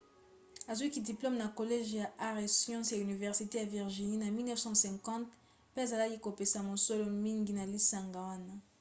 azwaki diplome na college ya arts & sciences ya université ya virginie na 1950 pe azalaki kopesa mosolo mingi na lisanga wana